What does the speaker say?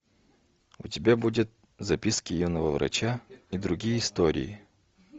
у тебя будет записки юного врача и другие истории